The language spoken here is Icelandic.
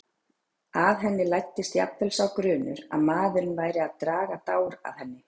Að henni læddist jafnvel sá grunur að maðurinn væri að draga dár að henni.